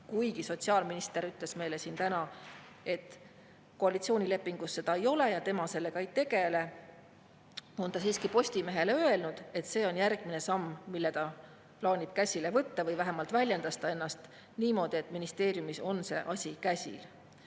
Kuigi sotsiaalminister ütles meile siin täna, et koalitsioonilepingus seda ei ole ja tema sellega ei tegele, on ta siiski Postimehele öelnud, et see on järgmine samm, mille ta plaanib käsile võtta, või vähemalt väljendas ta ennast niimoodi, et ministeeriumis on see asi käsil.